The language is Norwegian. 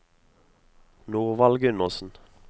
Norvald Gundersen